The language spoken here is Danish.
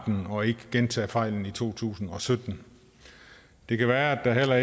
dem og ikke gentage fejlene i to tusind og sytten det kan være